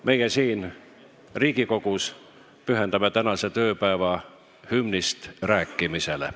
Meie siin Riigikogus pühendame tänase tööpäeva hümnist rääkimisele.